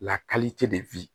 Lakalite de